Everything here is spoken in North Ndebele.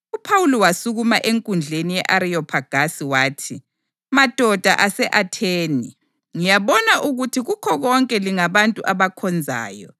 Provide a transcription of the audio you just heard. UPhawuli wasukuma enkundleni ye-Ariyophagasi wathi, “Madoda ase-Atheni! Ngiyabona ukuthi kukho konke lingabantu abakhonzayo.